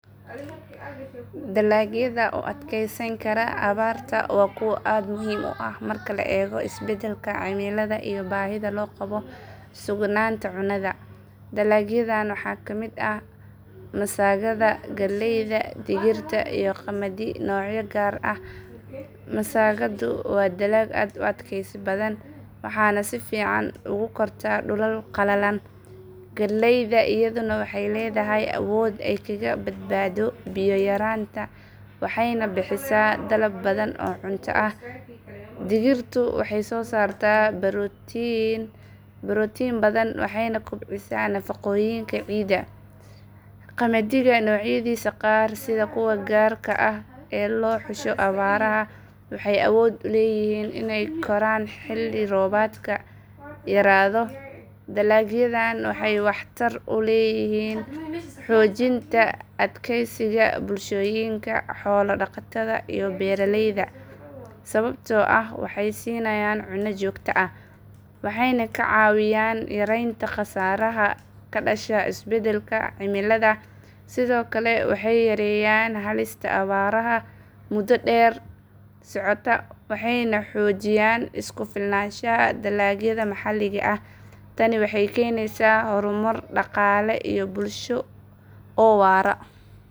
Dalagyada u adkeysan kara abaarta waa kuwo aad muhiim u ah marka la eego isbedelka cimilada iyo baahida loo qabo sugnaanta cunnada. Dalagyadan waxaa ka mid ah masagada, galleyda, digirta, iyo qamadi noocyo gaar ah ah. Masagadu waa dalag aad u adkaysi badan, waxayna si fiican ugu kortaa dhulal qalalan. Galleyda iyaduna waxay leedahay awood ay kaga badbaado biyo yaraanta waxayna bixisaa dalab badan oo cunto ah. Digirtu waxay soo saartaa borotiin badan waxayna kobcisaa nafaqooyinka ciidda. Qamadiga noocyadiisa qaar sida kuwa gaarka ah ee loo xusho abaaraha waxay awood u leeyihiin inay koraan xilli roobaadka yaraado. Dalagyadan waxay waxtar u leeyihiin xoojinta adkeysiga bulshooyinka xoolo dhaqatada iyo beeraleyda ah sababtoo ah waxay siinayaan cunno joogto ah, waxayna ka caawiyaan yareynta khasaaraha ka dhasha isbedelka cimilada. Sidoo kale waxay yareeyaan halista abaaraha muddo dheer socota waxayna xoojiyaan isku filnaanshaha dalagyada maxalliga ah. Tani waxay keenaysaa horumar dhaqaale iyo bulsho oo waara.